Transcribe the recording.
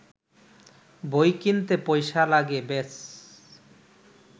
বই কিনতে পয়সা লাগে- ব্যস